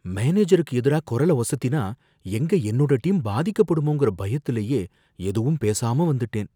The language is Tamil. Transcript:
மானேஜருக்கு எதிரா கொரல ஒசத்தினா, எங்க என்னோட டீம் பாதிக்கப்படுமோங்கற பயத்துலையே, எதுவுமே பேசாம வந்துட்டேன்.